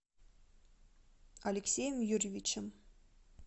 алексеем юрьевичем